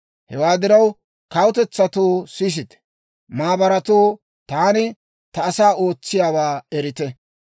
«Hewaa diraw, kawutetsatoo, sisite! Maabaratoo, taani ta asaa ootsiyaawaa erite!